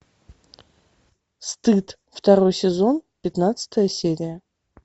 стыд второй сезон пятнадцатая серия